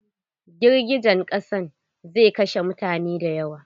Girgijen ƙasan zai kashe mutane da yawo.